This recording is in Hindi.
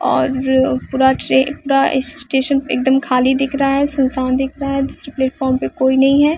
और अ पूरा ट्रे पूरा स्टेशन एकदम खाली दिख रहा है सुनसान दिख रहा है दूसरे प्लेटफार्म पे कोई नहीं है।